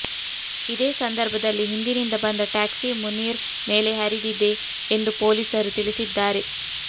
ಇದೇ ಸಂದರ್ಭದಲ್ಲಿ ಹಿಂದಿನಿಂದ ಬಂದ ಟ್ಯಾಕ್ಸಿ ಮುನೀರ್ ಮೇಲೆ ಹರಿದಿದೆ ಎಂದು ಪೊಲೀಸರು ತಿಳಿಸಿದ್ದಾರೆ